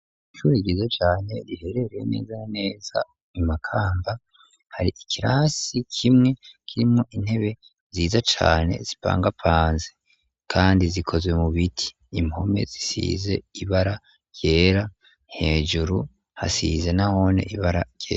Ishure ryiza cane riherereye neza na neza i Makamba hari ikirasi kimwe kirimwo intebe nziza cane zipangapanze kandi zikozwe mu biti impome zisize ibara ryera hejuru hasize nahone ibara ryera.